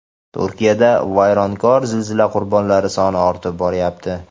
Turkiyada vayronkor zilzila qurbonlari soni ortib boryapti.